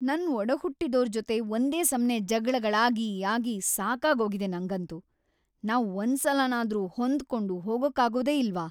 ನನ್ ಒಡಹುಟ್ಟಿದೋರ್‌ ಜೊತೆ ಒಂದೇ ಸಮ್ನೇ ಜಗ್ಳಗಳಾಗಿ ಆಗಿ ಸಾಕಾಗೋಗಿದೆ ನಂಗಂತೂ. ನಾವ್ ಒಂದ್ಸಲನಾದ್ರೂ ಹೊಂದ್ಕೊಂಡ್‌ ಹೋಗೋಕ್ಕಾಗೋದೇ ಇಲ್ವಾ?!